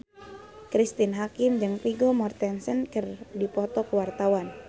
Cristine Hakim jeung Vigo Mortensen keur dipoto ku wartawan